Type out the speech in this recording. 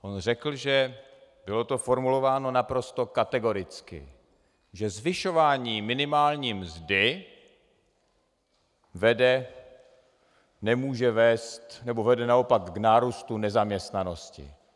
On řekl, že - bylo to formulováno naprosto kategoricky - že zvyšování minimální mzdy vede, nemůže vést, nebo vede naopak k nárůstu nezaměstnanosti.